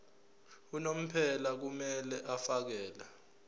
unomphela kumele afakele